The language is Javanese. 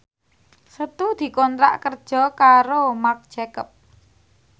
Setu dikontrak kerja karo Marc Jacob